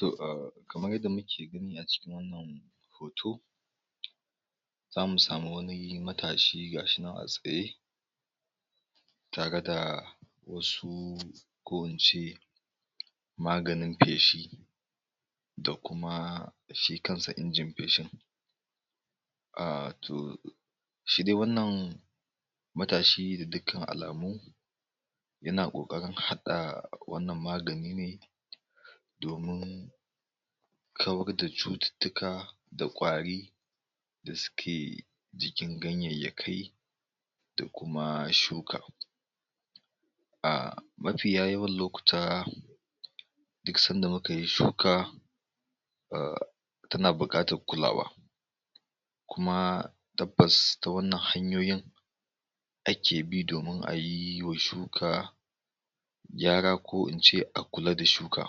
To a kamar yadda muke gani a cikin wannan hoto zamu sami wani matashi ga shi nan a tsaye, tare da wasu ko in ce maganin feshi, sdakuma shi kansa injin feshin, aah to, shi dai wannan matashi da dukan alamu, yana ƙoƙarin haɗa wannan magani ne, domin, kawar da cututtuka da ƙwari, da suke jikin ganyayyakai, da kuma shuka. Ahh mafiya yawan lokuta, duk sanda muka yi shuka, ahh tana buƙatar kulawa. Kuma tabbas ta wannan hanyoyi, ake bi domin a yiwa shuka gyara jko in ce a kula da shuka.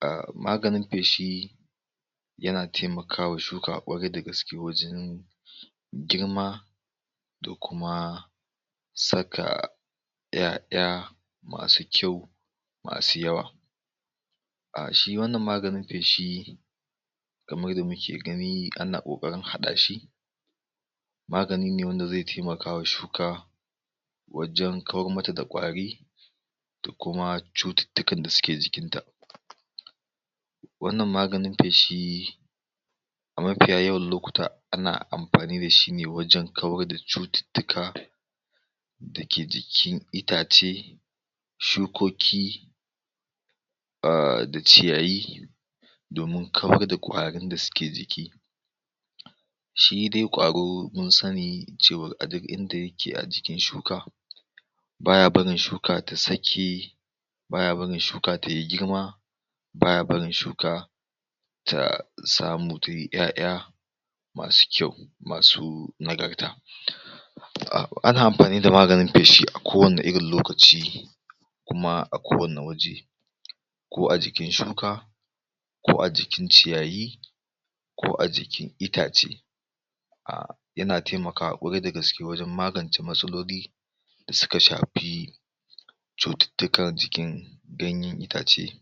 A maganin feshi yana taimakawa shuka ƙwarai da gaske wajen, girma, da kuma, saka 'ya'ya masu kyau masu yawa. A shi wannan maganin feshi, kamar yadda muke gani ana ƙoƙarin haɗa shi magani ne wanda zai taimakawa shuka, wajen kawar mata da ƙwari, da kuma cututtukan da suke jikinta. Wannan maganin feshi, a mafiya yawan lokuta ana amfani da shi ne wajen kawar da cututtuka, da ke jikin itace, shukoki, ahh da ciyayi, domin kawar da ƙwarin da suke jiki, Shi dai Vwaro mun sani a duk inda yake a jikin shuka, baya barin shuka ta sake, baya barin shuka ta yi girma, baya barin shuka, ta samu ta yi 'ya'ya masu kyau masu nagarta. Ana amfani da maganin feshi a kowanne irin lokaci, kuma a kowanne waje, ko a jikin shuka, ko a jikin ciyayi, ko a jikin itace. Yana taimakawa ƙwarai da gaske wajen magance matsaloli, da suka shafi, cututtukan jikin ganyen itace.